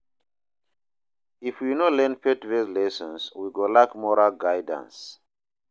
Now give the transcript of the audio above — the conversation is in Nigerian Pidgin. If we no learn faith-based lessons, we go lack moral guidance.